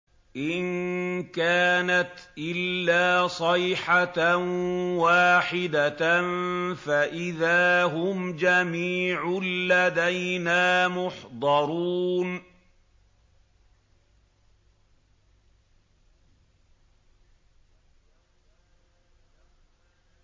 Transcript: إِن كَانَتْ إِلَّا صَيْحَةً وَاحِدَةً فَإِذَا هُمْ جَمِيعٌ لَّدَيْنَا مُحْضَرُونَ